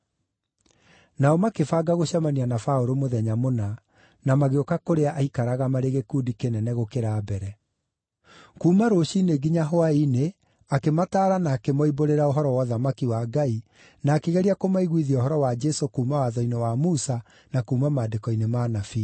Nao makĩbanga gũcemania na Paũlũ mũthenya mũna, na magĩũka kũrĩa aaikaraga marĩ gĩkundi kĩnene gũkĩra mbere. Kuuma rũciinĩ nginya hwaĩ-inĩ akĩmataara na akĩmoimbũrĩra ũhoro wa ũthamaki wa Ngai, na akĩgeria kũmaiguithia ũhoro wa Jesũ kuuma Watho-inĩ wa Musa na kuuma Maandĩko-inĩ ma Anabii.